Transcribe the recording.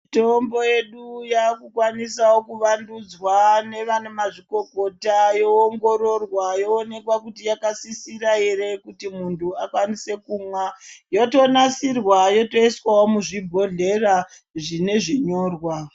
Mitombo yedu yakukwaniswawo kuvandudzwa nevana mazvikokota yoongororwa yoonekwa kuti yakasisira here kuti muntu akwanise kumwa, yotonasirwa yotoiswawo muzvibhodhlera zvine zvinyorwa.